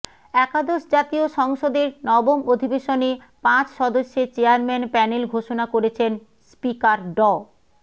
একাদশ জাতীয় সংসদের নবম অধিবেশনে পাঁচ সদস্যের চেয়ারম্যান প্যানেল ঘোষণা করেছেন স্পিকার ড